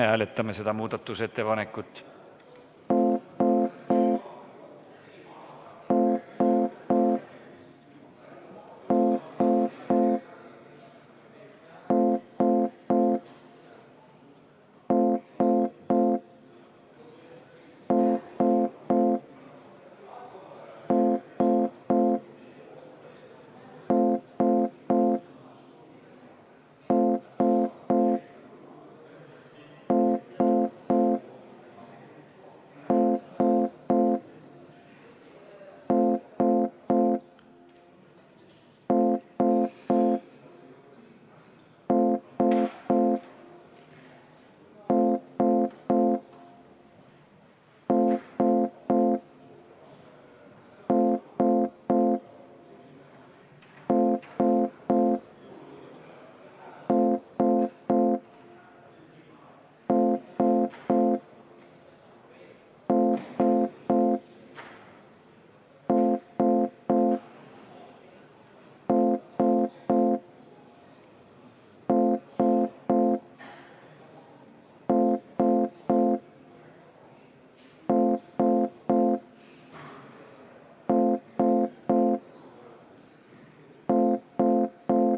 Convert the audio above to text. Me hääletame seda muudatusettepanekut.